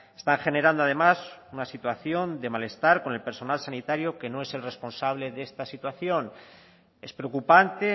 están generando además una situación de malestar con el personal sanitario que no es el responsable de esta situación es preocupante